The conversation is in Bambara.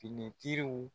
Finitigiw